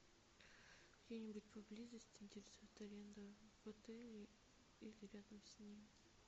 где нибудь поблизости интересует аренда в отеле или рядом с ним